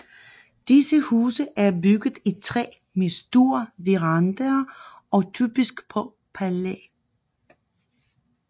Disse huse er bygget i træ med store verandaer og typisk på pæle